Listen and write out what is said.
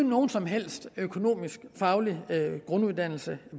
nogen som helst økonomisk faglig grunduddannelse